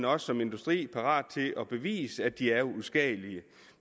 også som industri parat til at bevise at de er uskadelige